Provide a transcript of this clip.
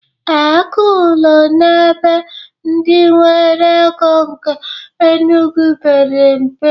Ee, ego ụlọ n'ebe ndị nwere ego nke Enugwu pere mpe.